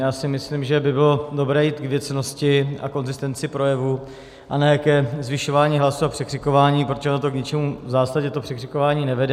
Já si myslím, že by bylo dobré jít k věcnosti a konzistenci projevu a ne ke zvyšování hlasu a překřikování, protože ono k ničemu v zásadě to překřikování nevede.